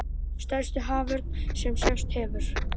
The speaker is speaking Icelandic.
Stærsti haförn sem sést hefur